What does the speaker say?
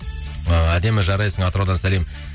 ы әдемі жарайсың атыраудан сәлем